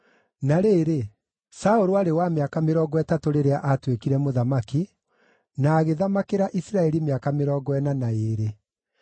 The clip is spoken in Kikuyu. Na rĩrĩ, Saũlũ aarĩ wa mĩaka mĩrongo ĩtatũ rĩrĩa aatuĩkire mũthamaki, na agĩthamakĩra Isiraeli mĩaka mĩrongo ĩna na ĩĩrĩ.